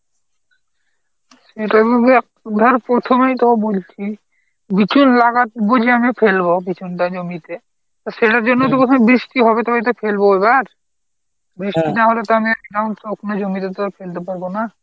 ধর প্রথমেই তোকে বলছি বিচুন লাগাবো যে আমি ফেলব বিচুন টা জমিতে তা সেটার জন্যও তো বৃষ্টি হবে তবে এটা ফেলব এবার বৃষ্টি না হলে তো জমিতে তো আর ফেলতে পারবো না.